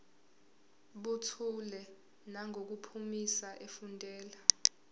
buthule nangokuphimisa efundela